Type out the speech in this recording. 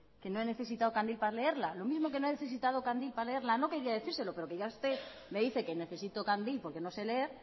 que no he necesitado candil para leerla lo mismo que no he necesitado candil para leerla no quería decírselo pero ya que usted me dice que necesito candil porque no sé leer